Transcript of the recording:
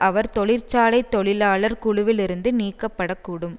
அவர் தொழிற்சாலை தொழிலாளர் குழுவிலிருந்து நீக்கப்படக்கூடும்